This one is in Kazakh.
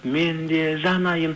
мен де жанайын